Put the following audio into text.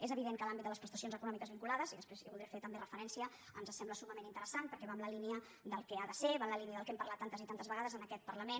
és evident que l’àmbit de les prestacions econòmiques vinculades i després hi voldré fer també referència ens sembla summament interessant perquè va en la línia del que ha de ser va en la línia del que hem parlat tantes i tantes vegades en aquest parlament